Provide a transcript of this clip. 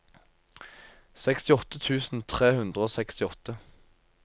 sekstiåtte tusen tre hundre og sekstiåtte